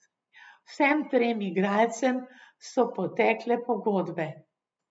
Vsem trem igralcem so potekle pogodbe.